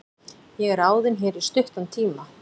Ég er ráðinn hér í stuttan tíma.